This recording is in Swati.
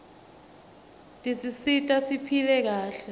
tisisita siphile kahle